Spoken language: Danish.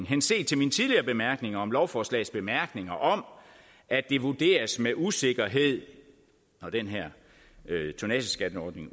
henset til min tidligere bemærkning om lovforslagets bemærkninger om at det vurderes med usikkerhed når den her tonnageskatteordning